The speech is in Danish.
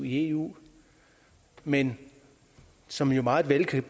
i eu men som jo meget vel kan